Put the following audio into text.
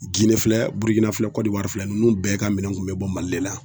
Gine filɛ Burukina filɛ Kɔnɔwari filɛ ninnu bɛɛ ka minɛn kun bi bɔ Mali de la.